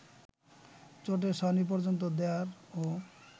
চটের ছাউনি পর্যন্ত দেয়ারও